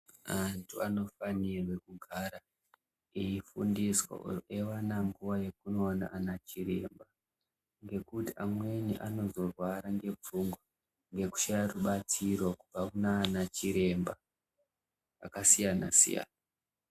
Antu anofanirwe kugara ,eifundiswe eiwana nguva yekunoona anachiremba, ngekuti amweni anozorwara ngepfungwa ngekushaya rubatsiro, kubva kunaanachiremba, akasiyana-siyana.